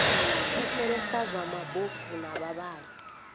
thetshelesa zwa mabofu na vhavhali